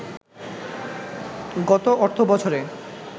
গত অর্থবছরে